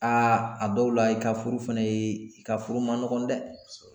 Aa a dɔw la i ka furu fɛnɛ ye i ka furu ma nɔgɔ dɛ